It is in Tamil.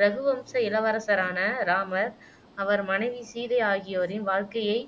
ரகு வம்ச இளவரசரான ராமர் அவர் மனைவி சீதை ஆகியோரின் வாழ்க்கையை